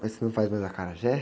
Mas você não faz mais acarajé?